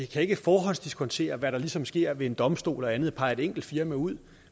kan forhåndsdiskontere hvad der ligesom sker ved en domstol og andet og pege et enkelt firma ud